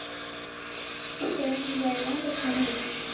channel এ দেয় না তো phone এ দেখি